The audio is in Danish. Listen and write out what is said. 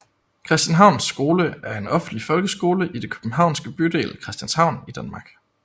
Christianshavns Skole er en offentlig folkeskole i den københavnske bydel Christianshavn i Danmark